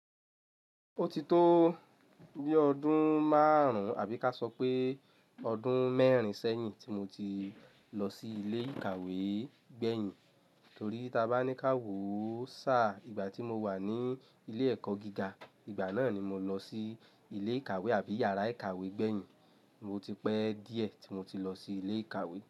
Ó ti tó bí ọdún márùn-ún àbí ká sọ pé ọdún mẹ́rin sẹ́yìn tí mo ti lọ sí ilé ìkàwé gbẹ̀yìn. Torí tabá ní ká wò ó sáà ìgbà tí mo wà ní ilé ẹ̀kọ́ gíga, ìgbà náà ni mo lọ sí ilé ìkàwé àbí yàrá ìkàwé gbẹ̀yìn. O ti pẹ́ díẹ̀ tí mo ti lọ sí ilé ìkàwé.